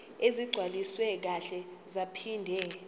ezigcwaliswe kahle zaphinde